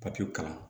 Papiye kalan